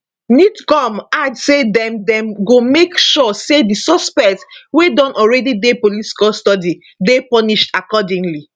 nidcom add say dem dem go make sure say di suspect wey don already dey police custody dey punished accordingly